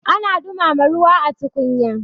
ana dumama ruwa a tukunya